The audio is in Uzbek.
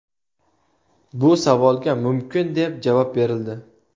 Bu savolga mumkin, deb javob berildi.